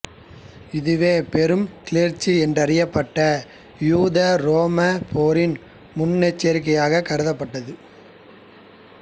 இதுவே பெரும் கிளர்ச்சி என்றறியப்பட்ட யூதஉரோம போரின் முன்னெச்சரிக்கையாக கருதப்பட்டது